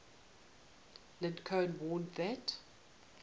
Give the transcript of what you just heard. lincoln warned that